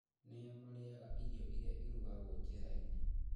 Nĩa marĩaga irio iria irugagĩrwo njĩrainĩ